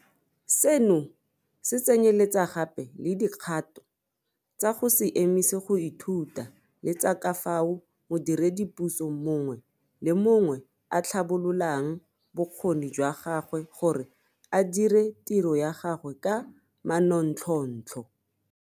Seno se tsenyeletsa gape le dikgato tsa go se emise go ithuta le tsa ka fao modiredipuso mongwe le mongwe a tlhabololang bokgoni jwa gagwe gore a dire tiro ya gagwe ka manontlhotlho.